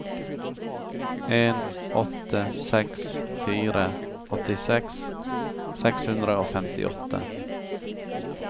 en åtte seks fire åttiseks seks hundre og femtiåtte